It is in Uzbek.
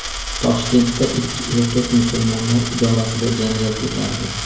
Toshkentda ikki erkak Musulmonlar idorasida janjal ko‘tardi.